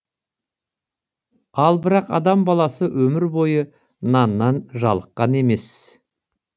ал бірақ адам баласы өмір бойы наннан жалыққан емес